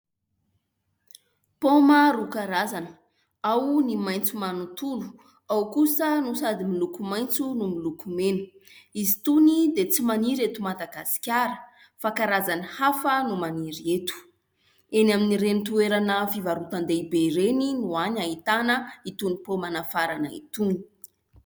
Paoma roa karazana. Ao ny maitso manontolo, ao kosa no sady miloko maintso no miloko mena. Izy itony dia tsy maniry eto Madagasikara fa karazany hafa no maniry eto. Eny amin'ireny toerana fivarotan-dehibe ireny no hany ahitana itony paoma nafarana itony.